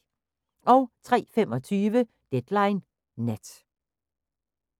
03:25: Deadline Nat